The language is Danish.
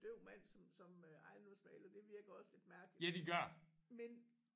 Døv mand som som øh ejendomsmægler det virkelig også lidt mærkeligt men